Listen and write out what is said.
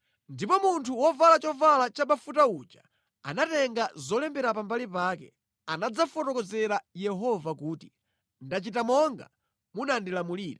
Ndipo munthu wovala chovala chabafuta uja atatenga zolembera pambali pake anadzafotokozera Yehova kuti, “Ndachita monga munandilamulira.”